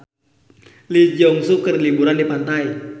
Lee Jeong Suk keur liburan di pantai